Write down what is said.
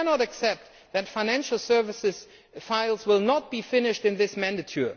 We cannot accept that financial services files will not be finished during this mandate.